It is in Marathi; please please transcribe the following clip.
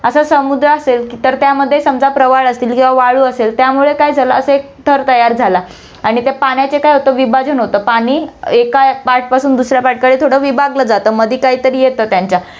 आता समुद्र असेल, तर त्यामध्ये समजा प्रवाळ असेल किंवा वाळू असेल, त्यामुळे काय झालं असं एक थर तयार झाला आणि त्या पाण्याचे काय होतं, विभाजन होतं. पाणी एका पाटपासून दुसऱ्या पाटकडे थोडं विभागलं जातं मधे काहीतरी येतं त्यांच्या